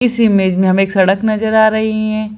इस इमेज में हमें एक सड़क नजर आ रही हैं।